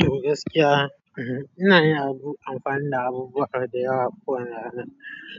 To gaskiya, ina yi abun amfani da abubuwa da yawa kowane rana.